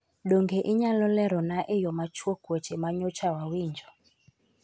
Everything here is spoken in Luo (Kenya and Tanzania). Donge inyalo lerona e yo machuok weche ma nyocha wawinjo?